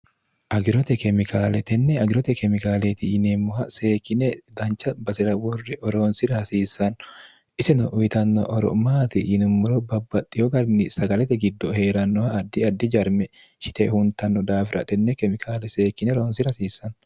agirote kemikaaletenne agirote kemikaaleeti yineemmoha seekkine dancha basi'ra worre oroonsira hasiissanno isino uyitanno oro'maati yinummulo babbaxxiho ganni sagalete giddo hee'rannoha addi addi jarme shite huntanno daafiratenne kemikaale seekkine roonsira hasiissanno